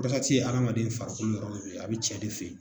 ye adamaden farikolo yɔrɔ dɔ ye a bɛ cɛ de fɛ yen